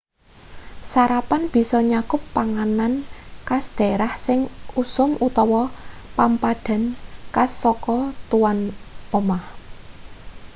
sarapan bisa nyakup panganan khas dhaerah sing usum utawa pampadan khas saka tuwan umah